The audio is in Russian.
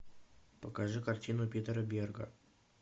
покажи картину питера берга